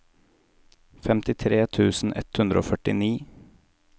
femtitre tusen ett hundre og førtini